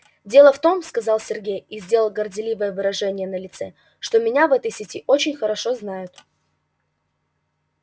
дело в том сказал сергей и сделал горделивое выражение на лице что меня в этой сети очень хорошо знают